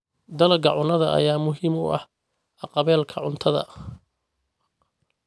Dalagga cunnada ayaa muhiim u ah haqab-beelka cuntada.